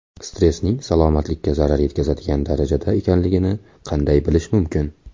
Stressning salomatlikka zarar yetkazadigan darajada ekanligini qanday bilish mumkin?